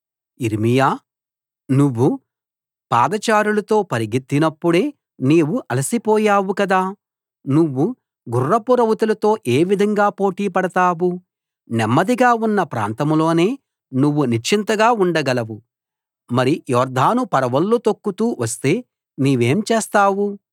యిర్మీయా నువ్వు పాదచారులతో పరిగెత్తినప్పుడే నీవు అలసిపోయావు కదా నువ్వు గుర్రపు రౌతులతో ఏ విధంగా పోటీ పడతావు నెమ్మదిగా ఉన్న ప్రాంతంలోనే నువ్వు నిశ్చింతగా ఉండగలవు మరి యొర్దాను పరవళ్ళు తొక్కుతూ వస్తే నీవేం చేస్తావు